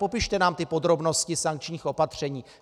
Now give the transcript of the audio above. Popište nám ty podrobnosti sankčních opatření.